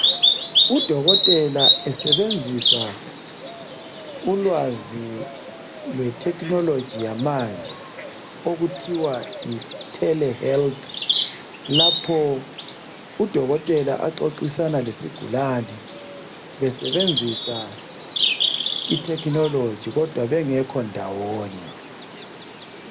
Udokotela esebenzisa ulwazi lwe technology yamanje okuthiwa yi Tele health, lapho udokotela axoxisana lesigulane besebenzisa itechnology kodwa bengekho ndawonye.